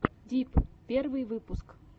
дип первый выпуск